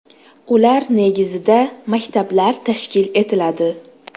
Ular negizida maktablar tashkil etiladi.